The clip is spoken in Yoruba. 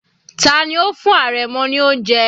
Tani ó fún àrẹ̀mọ ní oúnjẹ?